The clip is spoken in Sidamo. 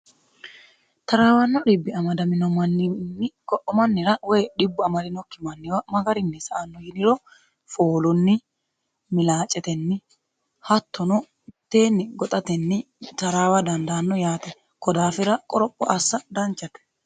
taraawanno xibbi amadamino manninni ko'o mannira woy dhibbuamadaminokki manniwa magarinni sa'anno yiniro foolunni milaacetenni hattono mitteenni goxatenni taraawa dandaanno yaate kodaafira qoropho assa danchate